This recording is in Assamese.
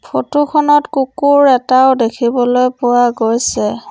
ফটো খনত কুকুৰ এটাও দেখিবলৈ পোৱা গৈছে।